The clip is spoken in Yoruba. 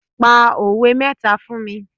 Pa òwe mẹ́ta fún mi.